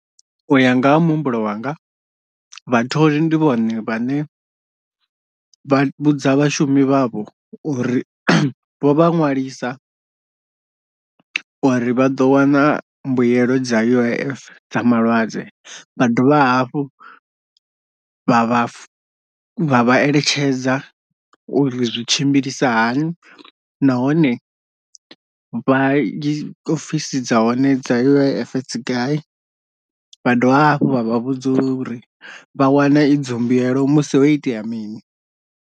Uya nga ha muhumbulo wanga vhatholi ndi vhone vhane vha vhudza vhashumi vhavho uri vho vha ṅwalisa uri vha ḓo wana mbuelo dza U_I_F dza malwadze, vha dovha hafhu vha vha vha vha eletshedza uri zwi tshimbilisa hani nahone vha i ofisi dza hone dza U_I_F dzi gai, vha dovha hafhu vha vha vhudza uri vha wana idzo mbuelo musi ho itea mini.